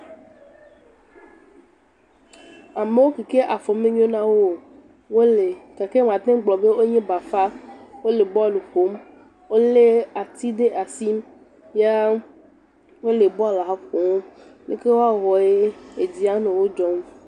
Amewo ki ke afɔ menyo na wo o wole gake woate ŋu agblɔ be wonye bafa wole bɔlu ƒom wolé ati ɖe asi ya wole bɔla ƒom leke woawɔ edzi ananɔ wo dzɔm.